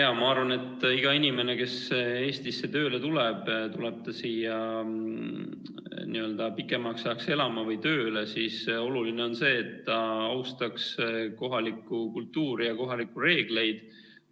Jaa, ma arvan, et iga inimene, kes Eestisse tööle tuleb, tuleb ta siia pikemaks ajaks elama või tööle, siis oluline on see, et ta austaks kohalikku kultuuri ja kohalikke reegleid.